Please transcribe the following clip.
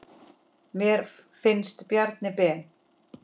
Mér finnst Bjarni Ben.